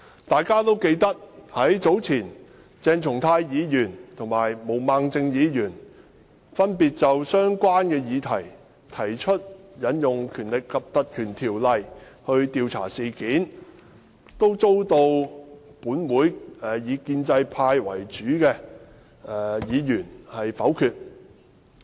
大家也記得，早前鄭松泰議員和毛孟靜議員分別就相關的議題提出引用《條例》來調查事件，均遭立法會內以建制派為主的議員否決。